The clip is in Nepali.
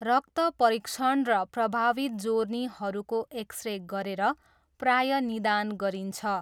रक्त परीक्षण र प्रभावित जोर्नीहरूको एक्स रे गरेर प्रायः निदान गरिन्छ।